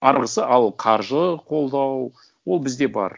арғысы ал қаржы қолдау ол бізде бар